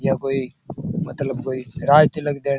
यह कोई मतलब कोइ राज तिलक देन --